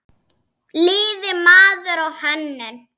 Lifir maður á hönnun?